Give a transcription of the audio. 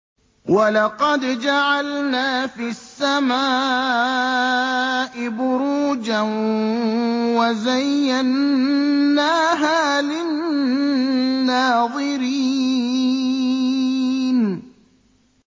وَلَقَدْ جَعَلْنَا فِي السَّمَاءِ بُرُوجًا وَزَيَّنَّاهَا لِلنَّاظِرِينَ